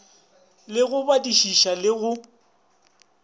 le go badišiša le go